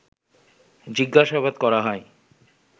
জিজ্ঞাসাবাদ করা হয়